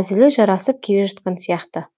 әзілі жарасып келе жатқан сияқты